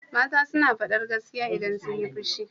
Mata suna faɗar gaskiya idan sunyi fushi.